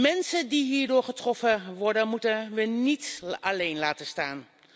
Mensen die hierdoor getroffen worden moeten we niet alleen laten staan.